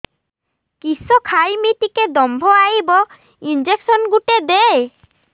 କିସ ଖାଇମି ଟିକେ ଦମ୍ଭ ଆଇବ ଇଞ୍ଜେକସନ ଗୁଟେ ଦେ